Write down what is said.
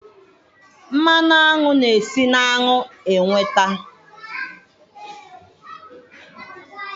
mmanụ aṅụ na-esi na aṅụ nweta